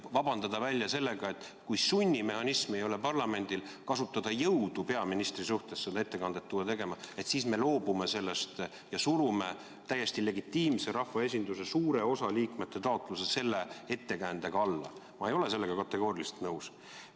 Vabandada välja sellega, et kui parlamendil ei ole sunnimehhanismi kasutada jõudu peaministri suhtes ja tuua ta seda ettekannet tegema, siis me loobume sellest ja surume täiesti legitiimse rahvaesinduse suure osa liikmete taotluse selle ettekäändega alla – ma ei ole sellega kategooriliselt nõus.